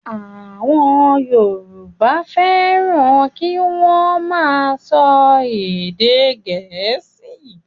Àwọn Yorùbá fẹ́ràn kí wọ́n máa sọ èdè gẹ̀ẹ́sì.